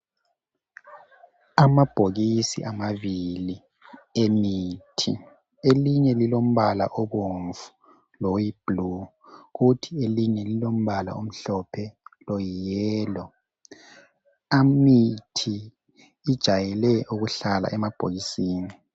Amabhokisi amabili emithi. Elinye lilombala obomvu loyiblue. Kuthi elinye lilombala obomvu, loyi-yellow. Imithi ijayele ukuhlala emabhokisini.